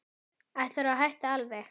Ætlarðu að hætta alveg.